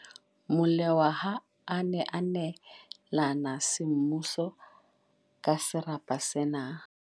Molewa ha a ne a neelana semmuso ka serapa sena.